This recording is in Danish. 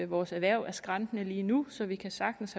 vores erhverv er skrantende lige nu så vi kan sagtens